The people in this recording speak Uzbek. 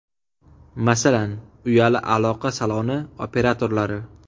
Masalan, uyali aloqa saloni operatorlari.